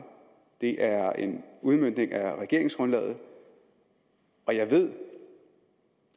det er en udmøntning af regeringsgrundlaget og jeg ved